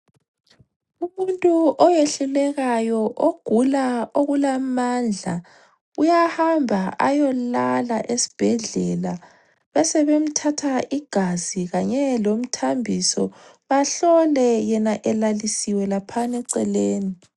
Umuntu oyehlulekayo ogula okulamandla uyahamba ayolala esbhedlela besebemthatha igazi kanye lomthambiso bahlole yena elalisiwe laphan' eceleni.